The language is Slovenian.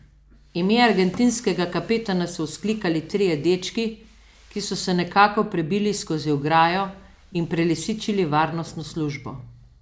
Ime argentinskega kapetana so vzklikali trije dečki, ki so se nekako prebili skozi ograjo in prelisičili varnostno službo.